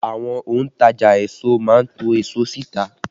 Àwọn òntajà èso má ń to èso sí ìta